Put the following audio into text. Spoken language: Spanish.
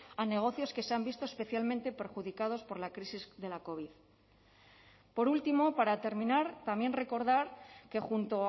a negocios que se han visto especialmente perjudicados por la crisis de la covid por último para terminar también recordar que junto